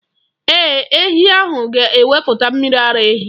Ee, ehi ahụ ga-ewepụta mmiri ara ehi.